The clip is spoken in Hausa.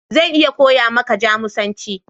Zan iya koya maka Jamusanci.